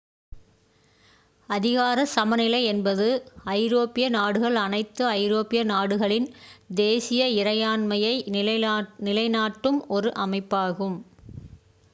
அதிகாரச் சமநிலை என்பது ஐரோப்பிய நாடுகள் அனைத்து ஐரோப்பிய நாடுகளின் தேசிய இறையாண்மையை நிலைநாட்டும் ஒரு அமைப்பாகும்